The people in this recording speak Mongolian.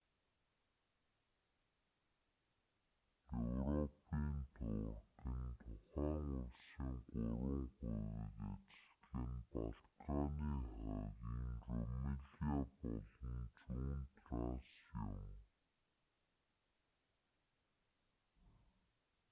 европын турк нь тухайн улсын 3 хувийг эзэлдэг нь балканы хойгын румилиа болон зүүн трасс юм.